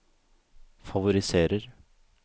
favoriserer